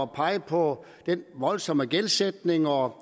pegede på den voldsomme gældsætning og